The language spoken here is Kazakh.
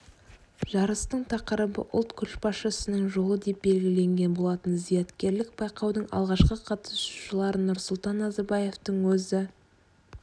жарыстың тақырыбы ұлт көшбасшысының жолы деп белгіленген болатын зияткерлік байқаудың алғашқы қатысушыларын нұрсұлтан назарбаевтың өзі